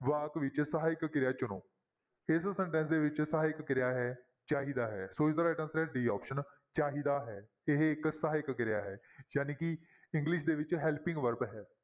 ਵਾਕ ਵਿੱਚ ਸਹਾਇਕ ਕਿਰਿਆ ਚੁਣੋ ਇਸ sentence ਦੇ ਵਿੱਚ ਸਹਾਇਕ ਕਿਰਿਆ ਹੈ ਚਾਹੀਦਾ ਹੈ ਸੋ ਇਸਦਾ right answer ਹੈ d option ਚਾਹੀਦਾ ਹੈ ਇਹ ਇੱਕ ਸਹਾਇਕ ਕਿਰਿਆ ਹੈ ਜਾਣੀਕਿ english ਦੇ ਵਿੱਚ helping verb ਹੈ